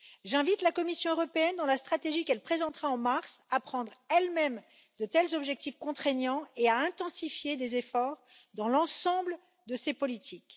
J'invite la Commission européenne dans la stratégie qu'elle présentera en mars à prendre elle même de tels objectifs contraignants et à intensifier les efforts dans l'ensemble de ses politiques.